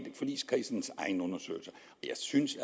forligskredsens egen undersøgelse jeg synes